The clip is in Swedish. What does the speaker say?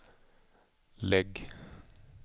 lägg